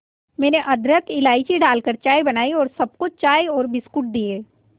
मैंने अदरक इलायची डालकर चाय बनाई और सबको चाय और बिस्कुट दिए